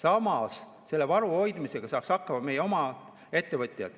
Ometi saaks selle varu hoidmisega hakkama meie oma ettevõtjad.